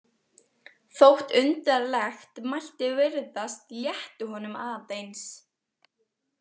Þótt undarlegt mætti virðast létti honum aðeins.